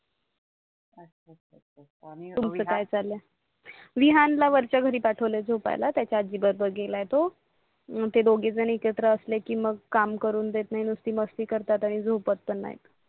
विहानला वरच्या घरी पाटवले झोपायला त्याच्या आजी बरीबर गेला आहे तो मग ते दोघेजणी एकत्र असले की मग काम करून देत नाही नुसते मस्ती करतात आणि झोपत पण नाही